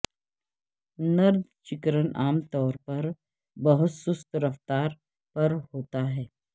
نردجیکرن عام طور پر بہت سست رفتار پر ہوتا ہے